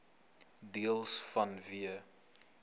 deels vanweë